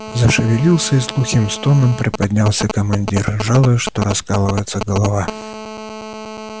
зашевелился и с глухим стоном приподнялся командир жалуясь что раскалывается голова